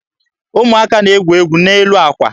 Ụmụaka na-egwu egwu n'elu àkwà.